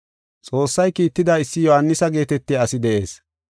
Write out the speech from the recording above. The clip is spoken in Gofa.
Xoossay kiitida, issi Yohaanisa geetetiya asi de7ees.